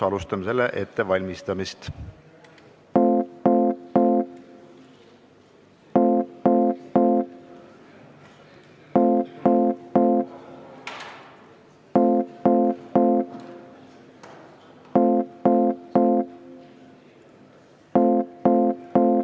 Alustame selle ettevalmistamist.